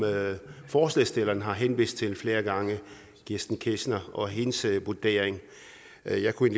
forslagsstillerne har henvist til flere gange kirsten ketscher og hendes vurdering jeg jeg kunne